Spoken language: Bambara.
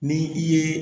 Ni i ye